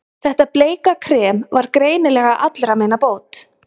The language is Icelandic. Þetta bleika krem var greinilega allra meina bót.